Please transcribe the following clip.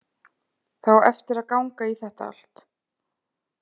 Það á eftir að ganga í þetta allt.